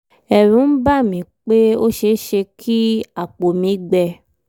ẹ̀rù ń bà mí pé ó ṣe é ṣe kí àpò mi gbẹ